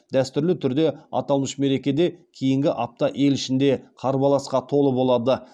дәстүрлі түрде аталмыш мерекеде кейінгі апта ел ішінде қарбаласқа толы болады